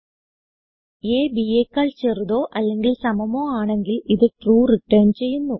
അ b യെക്കാൾ ചെറുതോ അല്ലെങ്കിൽ സമമോ ആണെങ്കിൽ ഇത് ട്രൂ റിട്ടർൻ ചെയ്യുന്നു